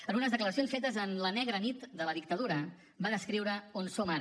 en unes declaracions fetes en la negra nit de la dictadura va descriure on som ara